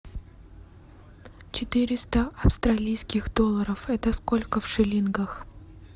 четыреста австралийских долларов это сколько в шиллингах